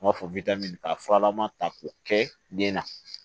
N b'a fɔ ka furalama ta k'o kɛ den na